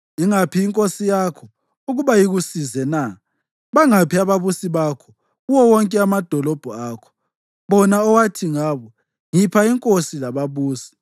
Ingaphi inkosi yakho, ukuba ikusize na? Bangaphi ababusi bakho kuwo wonke amadolobho akho, bona owathi ngabo, ‘Ngipha inkosi lababusi’?